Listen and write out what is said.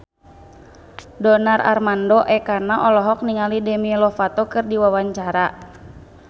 Donar Armando Ekana olohok ningali Demi Lovato keur diwawancara